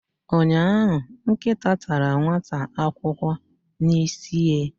ụnyahụ, nkịta tara nwata akwụkwọ n'isihie.